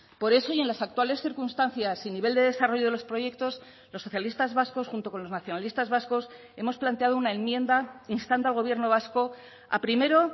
por eso y en las actuales circunstancias y nivel de desarrollo de los proyectos los socialistas vascos junto con los nacionalistas vascos hemos planteado una enmienda instando al gobierno vasco a primero